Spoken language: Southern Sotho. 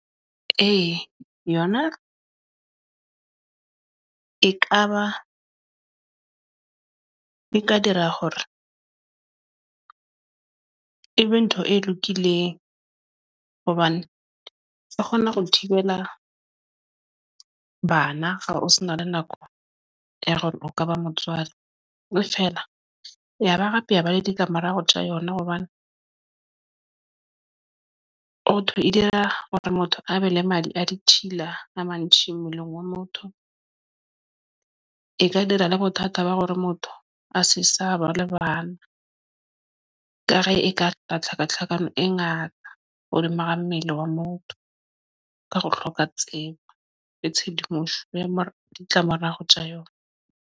Ee, yona ekaba di ka dira hore e be ntho e lokileng hobane ke kgona ho thibela bana ba o se na le nako ya hore o kaba motswadi feela, yaba ra peha ba le ditlamorao tja yona, Hobane ho thwe e dira hore motho a be le madi a di thibela a mantjhi mmeleng wa motho ng? E ka dira le bothata ba hore motho a se sa ba le bana, ekare e ka tla tlhakatlhakano e ngata ho le mara mmele wa motho ka ho hloka tsebo le tshedimoso ya mara ditlamorao Hoja yona ng .